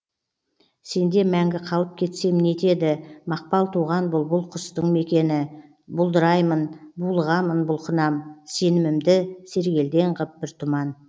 сенде мәңгі қалып кетсем не етеді мақпал туған бұлбұл құстың мекені бұлдыраймын булығамын бұлқынам сенімімді сергелдең ғып бір тұман